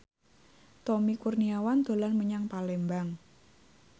Tommy Kurniawan dolan menyang Palembang